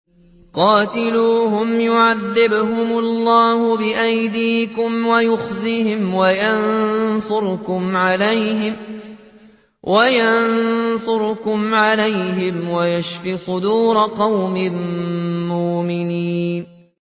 قَاتِلُوهُمْ يُعَذِّبْهُمُ اللَّهُ بِأَيْدِيكُمْ وَيُخْزِهِمْ وَيَنصُرْكُمْ عَلَيْهِمْ وَيَشْفِ صُدُورَ قَوْمٍ مُّؤْمِنِينَ